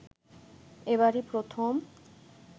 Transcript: এবারই প্রথম